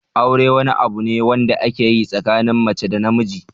Aure wani abu ne wanda ake yi tsakanin mace da namiji.